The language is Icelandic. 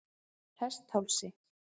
Hesthálsi